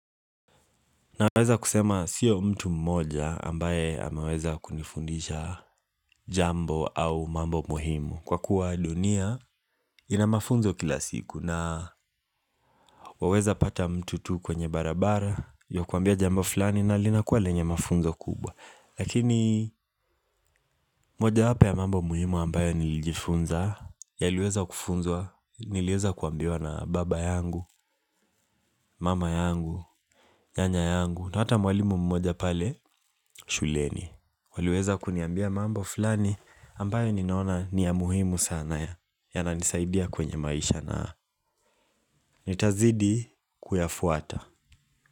Naweza kusema siyo mtu mmoja ambaye anaweza kunifundisha jambo au mambo muhimu kwa kuwa dunia ina mafunzo kila siku na waweza pata mtu tu kwenye barabara akakuambia jambo fulani na linakuwa lenye mafunzo kubwa. Lakini mojawapo ya mambo muhimu ambayo nilijifunza yaliweza kufunzwa niliweza kuambiwa na baba yangu, mama yangu, nyanya yangu. Na hata mwalimu mmoja pale shuleni waliweza kuniambia mambo fulani ambayo ninaona ni ya muhimu sana na yananisaidia kwenye maisha na nitazidi kuyafuata.